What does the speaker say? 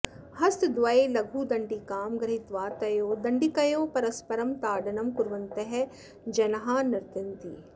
हस्तद्वये लघुदण्डिकां गृहीत्वा तयोः दण्डिकयोः परस्परं ताडनं कुर्वन्तः जनाः नृत्यन्ति